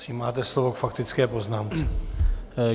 Prosím, máte slovo k faktické poznámce.